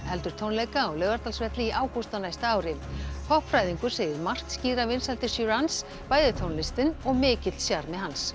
heldur tónleika á Laugardalsvelli í ágúst á næsta ári segir margt skýra vinsældir bæði tónlistin og mikill sjarmi hans